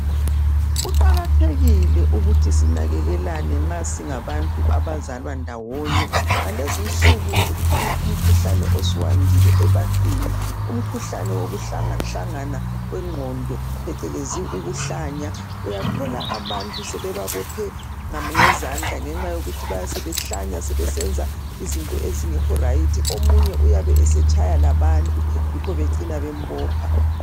Kuqakathekile ukuthi sinakekelane nxa singabantu abazalwa ndawonye. Ngalezinsuku ukhona umkhuhlane osuyandile ebantwini umkhuhlane wokuhlangahlangana kwengqondo phecelezi ukuhlanya. Uyathola abantu sebebabophe izandla ngenxa yokuthi bayabe sebehlanya sebesenza izinto ezingekho rayithi. Omunye uyabe esetshaya labantu yikho becina bembopha.